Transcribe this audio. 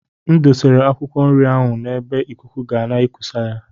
M dosara akwụkwọ nri ahụ n’ebe ikuku ga na-ekusa ya